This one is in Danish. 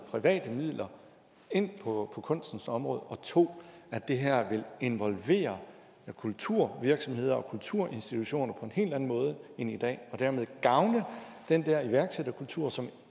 private midler ind på kunstens område og 2 det her vil involvere kulturvirksomheder og kulturinstitutioner på en helt anden måde end i dag og dermed gavne den der iværksætterkultur som